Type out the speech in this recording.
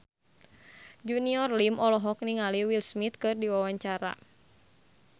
Junior Liem olohok ningali Will Smith keur diwawancara